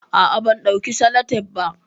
Ah ah ban dauki salatep ba